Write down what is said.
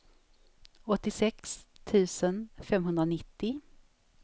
åttiosex tusen femhundranittio